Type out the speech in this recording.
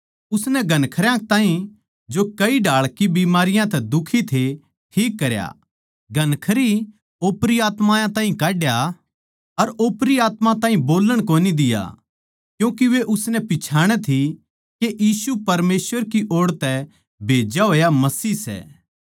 उसनै घणखरयां ताहीं जो कई ढाळ की बीमारियाँ तै दुखी थे ठीक करया घणखरी ओपरी आत्मायाँ ताहीं काड्या अर ओपरी आत्मायाँ ताहीं बोल्लण कोनी दिया क्यूँके वे उसनै पिच्छाणै थी के यीशु परमेसवर की ओड़ तै भेज्या होया मसीह सै